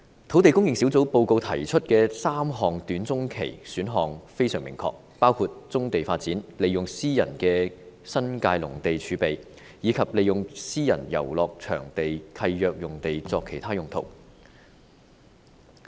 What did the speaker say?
土地供應專責小組報告提出的3項短中期選項非常明確，包括棕地發展、利用私人的新界農地儲備，以及利用私人遊樂場地契約用地作其他用途。